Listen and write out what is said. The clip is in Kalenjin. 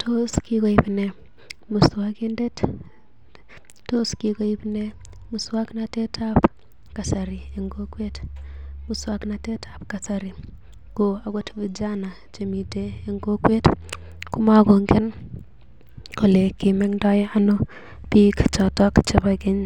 Tos kikoip nee muswog’natet ab kasari eng’ kokwet? Muswognatet ab kasari ko agot vijana che miten en kokwet komagongen kole kimengdo ano biik chebo keny,